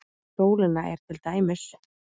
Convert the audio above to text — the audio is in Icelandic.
Fyrir sólina er til dæmis